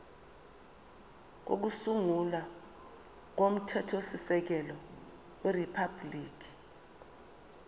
kokusungula komthethosisekelo weriphabhuliki